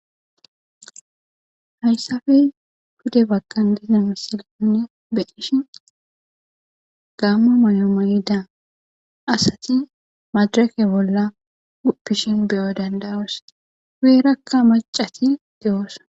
Hayssappe pude bagan giza misilanne beqishin gaammo mayo mayida asati madrake bolla guppishin beyo danda7oos. guyerakka macati dewus.